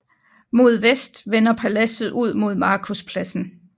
Mod vest vender paladset ud mod Markuspladsen